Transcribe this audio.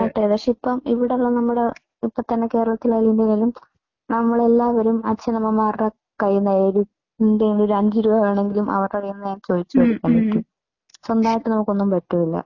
പക്ഷേ ഇപ്പോ ഇവിടെല്ലാം നമ്മുടെ ഇപ്പോ തന്നെ കേരളത്തിൽ ആയാലും ഇന്ത്യയില്‍ ആയാലും നമ്മളെല്ലാവരും അച്ഛനമ്മമാരുടെ ഒരു അഞ്ചു രൂപ വേണമെങ്കിലും അവർടെ കയ്യിന്നു ചോദിച്ച് മേടിക്കാൻ പറ്റൂ. സ്വന്തായിട്ട് നമുക്കൊന്നും പറ്റൂല.